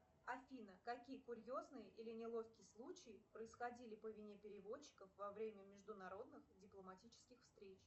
афина какие курьезные или неловкие случаи происходили по вине переводчиков во время международных дипломатических встреч